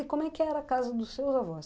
E como é que era a casa dos seus avós?